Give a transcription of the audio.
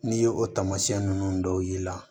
N'i ye o taamasiyɛn nunnu dɔw y'i la